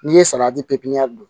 N'i ye saladi pe pepiɲɛri